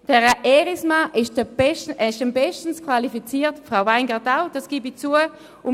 Herr Erismann ist bestens qualifiziert, Frau Weingart-Schneider auch – das gebe ich zu.